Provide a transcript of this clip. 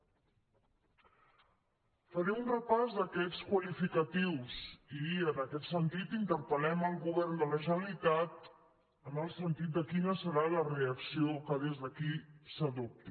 faré un repàs d’aquests qualificatius i en aquest sentit interpel·lem el govern de la generalitat en el sentit de quina serà la reacció que des d’aquí s’adopti